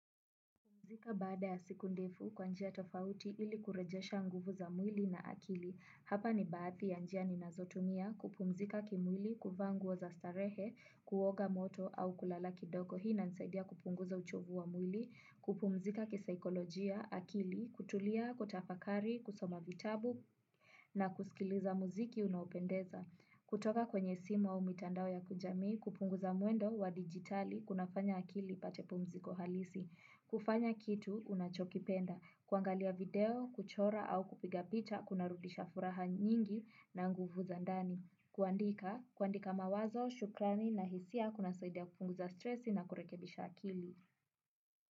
Kupumzika baada ya siku ndefu kwa njia tofauti ili kurejesha nguvu za mwili na akili. Hapa ni baadhi ya njia ninazotumia kupumzika kimwili: kuvaa nguo za starehe, kuoga maji ya moto au kulala kidogo. Hii inasaidia kupunguza uchovu wa mwili, kupumzika kisaikolojia, akili kutulia, kutafakari, kusoma vitabu na kusikiliza muziki unaopendeza. Kutoka kwenye simu au mitandao ya kijamii, kupunguza matumizi ya digitali, kunafanya akili mapumziko halisi. Kufanya kitu unachokipenda, kuangalia video, kuchora au kupiga picha kunarudisha furaha na nguvu za ndani. Kuandika, kuandika mawazo, shukrani na hisia kunasaidia kupunguza stresi na kurekebisha akili.